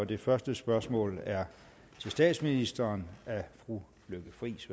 det første spørgsmål er til statsministeren af fru lykke friis